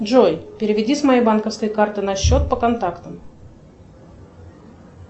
джой переведи с моей банковской карты на счет по контактам